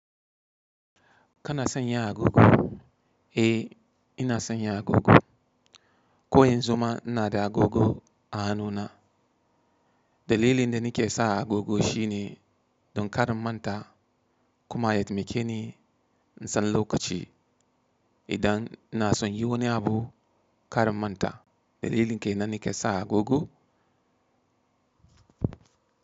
Kana sanya agogo? Eh ina sanya agogo. Ko yanzu ma ina da agogo a hannuna. Dalilin da nake sa agogo shine don kar in manta kuma ya taimake ni in san lokaci idan ina son yi wani abu kar in manta. Dalilin ke nan nake sa agogo.